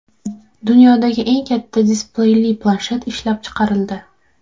Dunyodagi eng katta displeyli planshet ishlab chiqarildi.